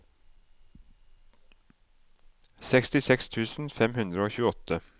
sekstiseks tusen fem hundre og tjueåtte